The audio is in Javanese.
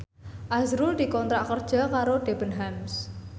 azrul dikontrak kerja karo Debenhams